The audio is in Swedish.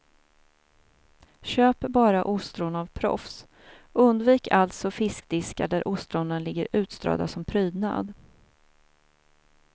Köp bara ostron av proffs, undvik alltså fiskdiskar där ostronen ligger utströdda som prydnad.